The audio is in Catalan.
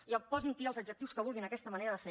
i posin hi els adjectius que vulguin a aquesta manera de fer